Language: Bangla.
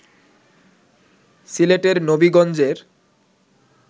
সিলেটের নবিগঞ্জের